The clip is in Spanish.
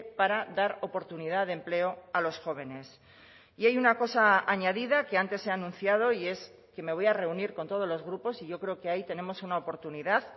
para dar oportunidad de empleo a los jóvenes y hay una cosa añadida que antes he anunciado y es que me voy a reunir con todos los grupos y yo creo que ahí tenemos una oportunidad